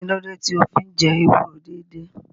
Kí ló dé tí o fi ń jẹ ewúro déédéé?